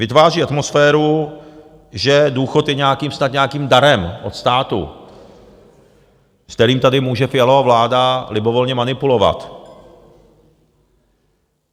Vytváří atmosféru, že důchod je snad nějakým darem od státu, s kterým tady může Fialova vláda libovolně manipulovat.